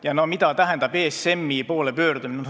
Ja mida tähendab ESM-i poole pöördumine?